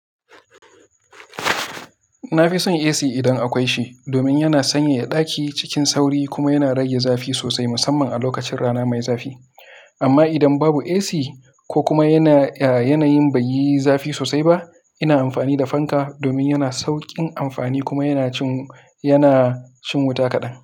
Na fi son AC idan akwai shi, domin yana sanyaya ɗaki cikin sauri kuma yana rage zafi sosai, musamman a lokacin rana mai zafi. Amma idan babu AC ko kuma yanayin bai yi zafi sosai ba, ina amfani da fanka domin yana sauƙin amfani kuma yana cin wuta kaɗan.